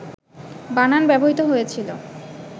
বানান ব্যবহৃত হয়েছিল,